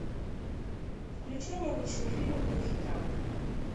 включай необычный фильм в духе драма